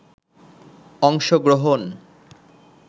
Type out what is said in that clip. অংশগ্রহন